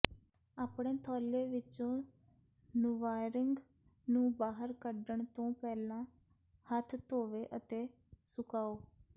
ਆਪਣੇ ਥੌਲੇ ਵਿੱਚੋਂ ਨੂਵਾਆਰਿੰਗ ਨੂੰ ਬਾਹਰ ਕੱਢਣ ਤੋਂ ਪਹਿਲਾਂ ਹੱਥ ਧੋਵੋ ਅਤੇ ਸੁਕਾਓ